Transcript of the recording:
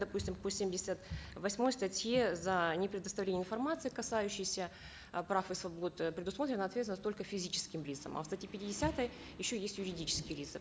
допустим по семьдесят восьмой статье за непредоставление информации касающейся э прав и свобод э предусмотрена ответственность только физическим лицам а в статье пятидесятой еще есть юридические лица